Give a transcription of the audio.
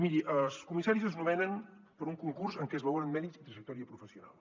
miri els comissaris es nomenen per un concurs en què es valoren mèrits i trajectòria professional